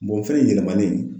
fɛn in yɛlɛmanni